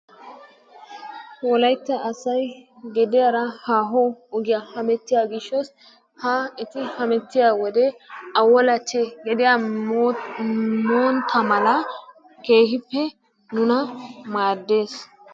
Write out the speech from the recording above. Wolaytta asay hediyara haaho ogiya hemettiyagishshos ha eti hamettiyo wode awolache gediya montta mala keehippe nuna maaddes.